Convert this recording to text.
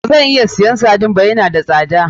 Bazan iya siyan sardine ba, ya na da sada.